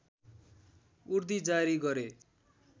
उर्दी जारी गरे